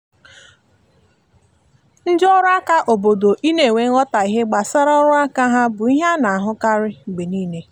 ndị ọrụ aka obodo i na enwe nghotahie gbasara ọrụ aka ha bụ ihe ana ahụ karịa mgbe niile